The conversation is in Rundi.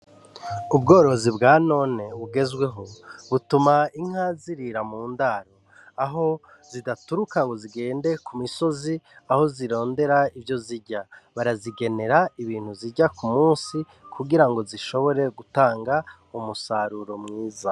Ubworozi bwanone bugezweho butuma Inka zirira mu ndaro aho zidaturuka ngo zigende ku misozi aho zirondera ivyo zirya, barazigenera ibintu zirya kumunsi kugirango zishobore gutanga umusaruro mwiza.